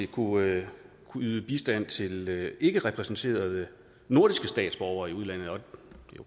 kunne yde bistand til ikkerepræsenterede nordiske statsborgere i udlandet okay